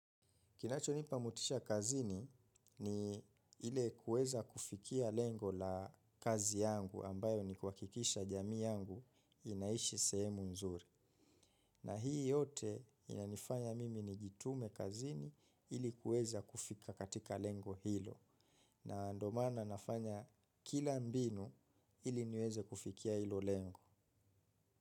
Kinachonipa motisha kazini ni ile kueza kufikia lengo la kazi yangu ambayo ni kuhakikisha jamii yangu inaishi sehemu nzuri. Na hii yote inanifanya mimi nijitume kazini ili kueza kufika katika lengo hilo. Na ndo maana nafanya kila mbinu ili niweze kufikia ilo lengo.